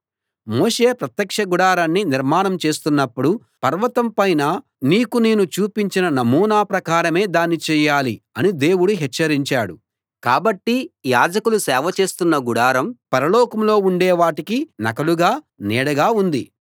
మోషే ప్రత్యక్ష గుడారాన్ని నిర్మాణం చేస్తున్నప్పుడు పర్వతం పైన నీకు నేను చూపించిన నమూనా ప్రకారమే దాన్ని చేయాలి అని దేవుడు హెచ్చరించాడు కాబట్టి యాజకులు సేవ చేస్తున్న గుడారం పరలోకంలో ఉండే వాటికి నకలుగా నీడగా ఉంది